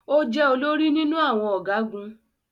O jẹ olórí nínú awọn ọgagun